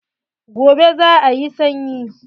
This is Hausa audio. Gobe za a yi sanyi.